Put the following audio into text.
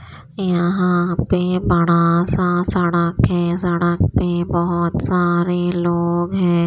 यहां पे बड़ा सा सड़क है सड़क पे बहोत सारे लोग हैं।